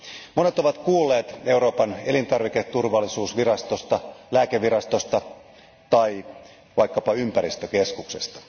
Monet ovat kuulleet Euroopan elintarviketurvallisuusvirastosta, lääkevirastosta tai vaikkapa ympäristökeskuksesta.